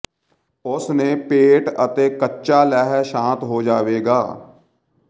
ਉਸ ਨੇ ਪੇਟ ਅਤੇ ਕੱਚਾ ਲਹਿ ਸ਼ਾਤ ਹੋ ਜਾਵੇਗਾ